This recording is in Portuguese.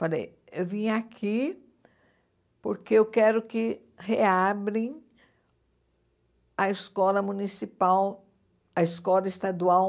Falei, eu vim aqui porque eu quero que reabrem a escola municipal, a escola estadual